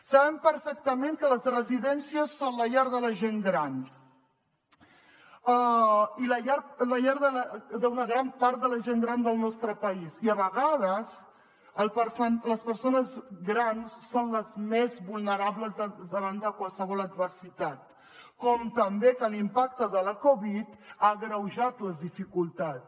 saben perfectament que les residències són la llar de la gent gran i la llar d’una gran part de la gent gran del nostre país i a vegades les persones grans són les més vulnerables davant de qualsevol adversitat com també que l’impacte de la covid ha agreujat les dificultats